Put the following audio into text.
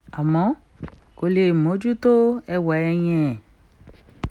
àmọ́ kò lè mójú tó ẹwà ẹ̀ yẹn